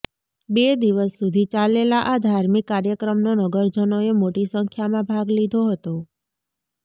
બે દિવસ સુધી ચાલેલા આ ધાર્મિક કાર્યક્રમનો નગરજનોએ મોટી સંખ્યામાં ભાગ લીધો હતો